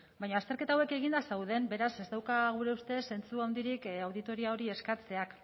baina azterketa hauek eginda dauden beraz ez dauka gure ustez zentzu handirik auditoria hori eskatzeak